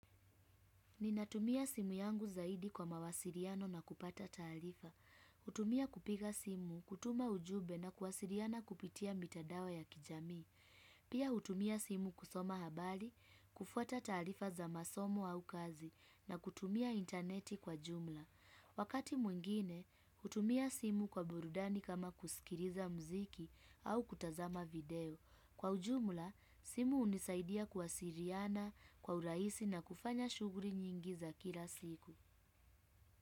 Ninatumia simu yangu zaidi kwa mawasiliano na kupata taarifa. Hutumia kupiga simu, kutuma ujumbe na kuwasiliana kupitia mitandao ya kijamii. Pia hutumia simu kusoma habari, kufuata taarifa za masomo au kazi na kutumia intaneti kwa jumla. Wakati mwingine, hutumia simu kwa burudani kama kusikiliza mziki au kutazama video. Kwa ujumla, simu hunisaidia kuwasiliana, kwa urahisi na kufanya shughuli nyingi za kila siku.